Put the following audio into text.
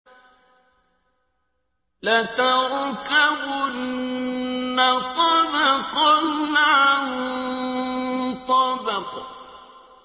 لَتَرْكَبُنَّ طَبَقًا عَن طَبَقٍ